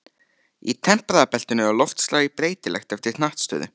Í tempraða beltinu er loftslagið breytilegt eftir hnattstöðu.